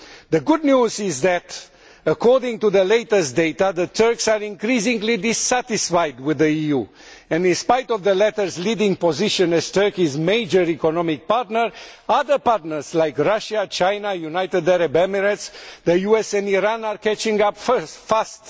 The good news is that, according to the latest data, the Turks are increasingly dissatisfied with the EU, and in spite of the latter's leading position as Turkey's major economic partner, other partners like Russia, China, United Arab Emirates, the US and Iran are catching up fast.